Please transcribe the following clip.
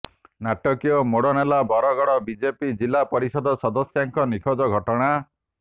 ନାଟକୀୟ ମୋଡ ନେଲା ବରଗଡ଼ ବିଜେପି ଜିଲ୍ଲା ପରିଷଦ ସଦସ୍ୟାଙ୍କ ନିଖୋଜ ଘଟଣା